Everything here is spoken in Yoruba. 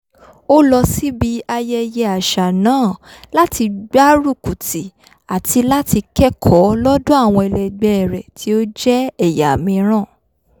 ó lọ síbi ayẹyẹ àṣà náà láti gbárùkùtì àti láti kẹ́kọ̀ọ́ lọ́dọ̀ àwọn ẹlẹgbẹ́ rẹ̀ tí ó jẹ́ ẹ̀yà míìràn